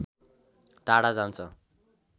टाढा जान्छ